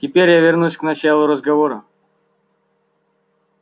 теперь я вернусь к началу разговора